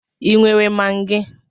Ị nwere Magi?